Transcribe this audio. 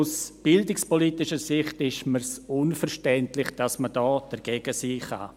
Aus bildungspolitischer Sicht ist es mir unverständlich, dass man hier dagegen sein kann.